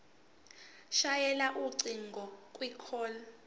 shayela ucingo kwicall